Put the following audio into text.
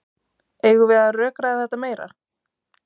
Eigum við að rökræða þetta meira?